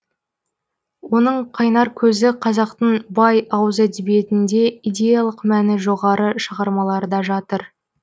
оның қайнар көзі қазақтың бай ауыз әдебиетінде идеялық мәні жоғары шығармаларда жатыр